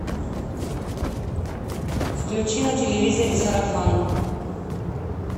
включи на телевизоре сарафан